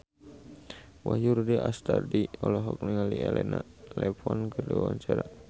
Wahyu Rudi Astadi olohok ningali Elena Levon keur diwawancara